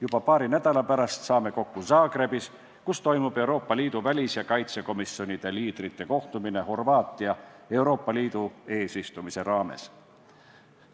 Juba paari nädala pärast saame kokku Zagrebis, kus toimub Euroopa Liidu välis- ja kaitsekomisjonide liidrite kohtumine, mis leiab aset Horvaatia Euroopa Liidu eesistumise raames.